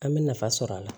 An bɛ nafa sɔrɔ a la